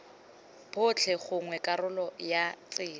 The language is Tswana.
botlhe gongwe karolo ya tsela